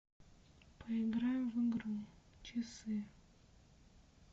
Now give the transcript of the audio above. поиграем в игру часы